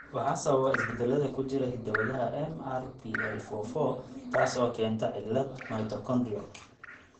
Waxaa sababa isbeddellada ku jira hidda-wadaha MRPL44, taas oo keenta cillad mitochondrial.